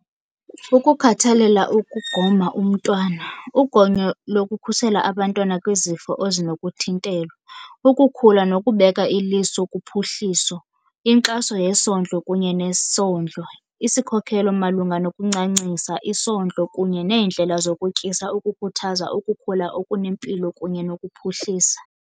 Ukukhathalela ukugoma umntwana. Ugonyo lokukhusela abantwana kwizifo ezinokuthintelwa. Ukukhula nokubeka iliso kuphuhliso. Inkxaso yesondlo kunye nesondlo. Isikhokhelo malunga nokuncancisa, isondlo kunye neendlela zokutyisa ukukhuthaza ukukhula okunempilo kunye nokuphuhlisa.